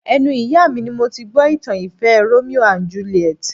Ẹnu ìyá mi ni mo ti gbọ́ ìtàn ìfẹ́ Romeo and Juliet